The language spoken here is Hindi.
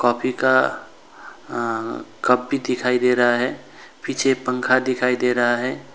कॉफी का अअ कप भी दिखाई दे रहा है पीछे पंखा दिखाई दे रहा है।